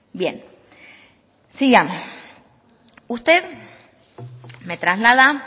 bien sigamos usted me traslada